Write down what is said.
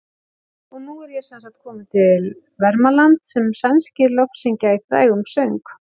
Og nú er ég semsagt kominn til Vermalands sem sænskir lofsyngja í frægum söng.